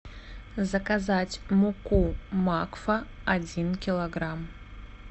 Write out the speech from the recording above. заказать муку макфа один килограмм